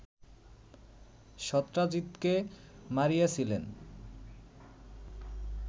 সত্রাজিতকে মারিয়াছিলেন